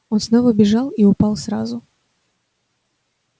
он снова бежал и упал сразу